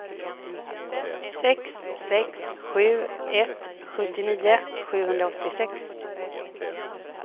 sex sex sju ett sjuttionio sjuhundraåttiosex